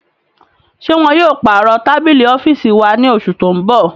Ṣe wọn yóò parọ tabili ọfiisi wa ni oṣu ti n bọ?